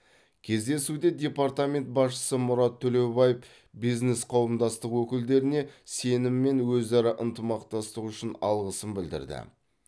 кездесуде департамент басшысы мұрат төлеубаев бизнес қауымдастық өкілдеріне сенім мен өзара ынтымақтастық үшін алғысын білдірді